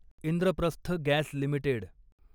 Indraprastha gas limited